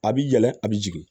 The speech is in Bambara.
A bi yɛlɛ a bi jigin